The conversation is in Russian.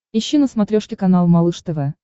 ищи на смотрешке канал малыш тв